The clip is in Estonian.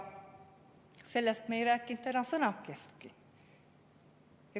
Sellest me ei rääkinud täna sõnakestki.